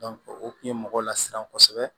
o tun ye mɔgɔ lasiran kosɛbɛ